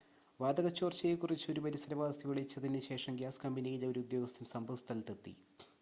വാതക ചോർച്ചയെ കുറിച്ച് ഒരു പരിസരവാസി വിളിച്ചതിന് ശേഷം ഗ്യാസ് കമ്പനിയിലെ ഒരു ഉദ്യോഗസ്ഥൻ സംഭവസ്ഥലത്ത് എത്തി